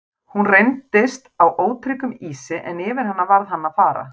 Hún reyndist á ótryggum ísi en yfir hana varð hann að fara.